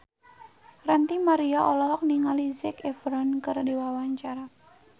Ranty Maria olohok ningali Zac Efron keur diwawancara